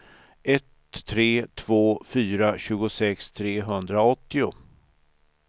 ett tre två fyra tjugosex trehundraåttio